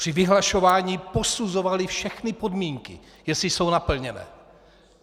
Při vyhlašování posuzovali všechny podmínky, jestli jsou naplněné.